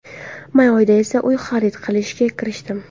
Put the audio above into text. May oyida esa uy xarid qilishga kirishdim.